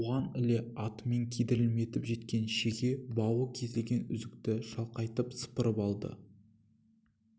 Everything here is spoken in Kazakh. оған іле атымен кидірмелетіп жеткен шеге бауы кесілген үзікті шалқайтып сыпырып алды